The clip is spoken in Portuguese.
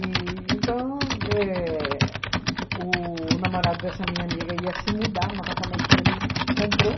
E então, éh o namorado dessa minha amiga ia se mudar no apartamento que ele comprou.